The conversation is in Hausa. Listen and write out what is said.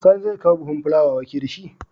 Gobe sani zai kawo buhun fulawa wake dashi